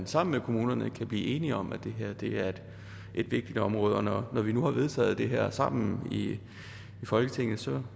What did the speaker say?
sammen med kommunerne kan blive enige om at det her er et vigtigt område når vi nu har vedtaget det her sammen i folketinget